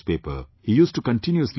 He used to continuously repeat that